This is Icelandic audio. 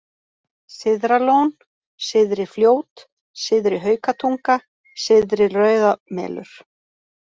Syðralón, Syðri-Fljót, Syðri-Haukatunga, Syðri-Rauðamelur